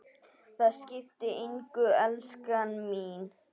Það skiptir engu, elskan mín.